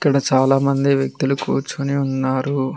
ఇక్కడ చాలామంది వ్యక్తులు కూర్చుని ఉన్నారు.